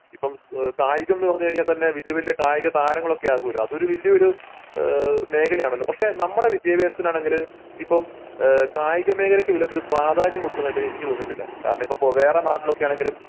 ഇപ്പോൾ കായികം ന്ന് പറഞ്ഞു കഴിഞ്ഞാൽ തന്നെ വല്യ വല്യ കായിക താരങ്ങളൊക്കെ ആകോലോ അതൊരു വല്യ ഒരു ഈഹ് മേഖല ആണല്ലോ പക്ഷെ നമ്മുടെ വിദ്യാഭ്യാസത്തിനാണെങ്കിൽ ഇപ്പോം ഏഹ് കായിക മേഖലക്ക് വല്യ പ്രാധ്യാനം കൊടുക്കുന്നതായിട്ട് എനിക്ക് തോന്നീട്ടില്ല. കാരണം ഇപ്പൊ വേറെ നാട്ടിൽ ഒക്കെ ആണെങ്കിലും